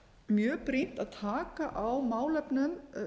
mjög brýnt að taka á málefnum